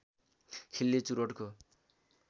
खिल्ली चुरोटको